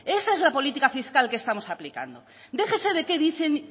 esa es la política fiscal que estamos aplicando déjese de qué dicen